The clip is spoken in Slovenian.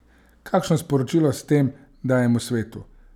Kakšno sporočilo s tem dajemo svetu?